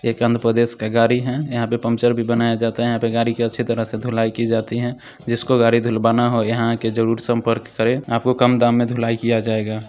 एक अंध परदेस का गाड़ी है यहा पे पंचर भी बनाया जाता है यहा पे गाडी का अच्छी तरह से धुलाई की जाती है जिस को गाडी धुलवाना हो यहां आके जरुर संपर्क करे आप को कम दाम में धुलाई किया जायेगा।